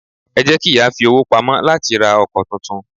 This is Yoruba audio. Ẹ jẹ́ kiya fi owó pamọ́ láti ra ọkọ̀ tuntun.